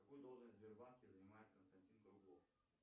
какую должность в сбербанке занимает константин круглов